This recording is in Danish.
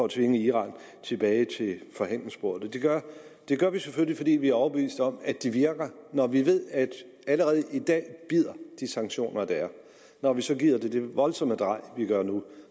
tvinge iran tilbage til forhandlingsbordet det gør vi selvfølgelig fordi vi er overbevist om at de virker når vi ved at allerede i dag bider de sanktioner der er når vi så giver det det voldsomme drej vi gør nu